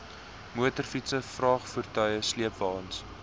motorfietse vragvoertuie sleepwaens